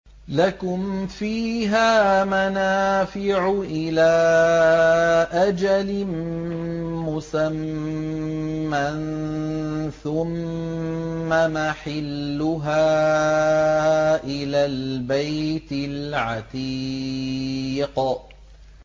لَكُمْ فِيهَا مَنَافِعُ إِلَىٰ أَجَلٍ مُّسَمًّى ثُمَّ مَحِلُّهَا إِلَى الْبَيْتِ الْعَتِيقِ